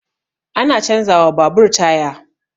Ana canza wa babur taya